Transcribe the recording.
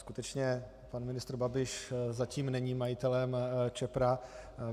Skutečně pan ministr Babiš zatím není majitelem Čepra.